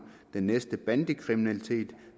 den næste dag bandekriminalitet og